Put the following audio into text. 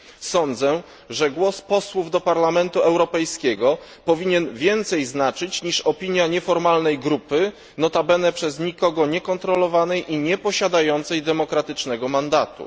Sądzę, że głos posłów do Parlamentu Europejskiego powinien znaczyć więcej niż opinia nieformalnej grupy, notabene przez nikogo nie kontrolowanej i nieposiadającej demokratycznego mandatu.